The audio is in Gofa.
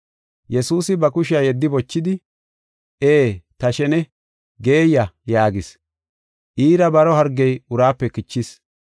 Yesuusi ba kushiya yeddi bochidi, “Ee, ta shene; geeyiya” yaagis. Iira baro hargey uraape kichis.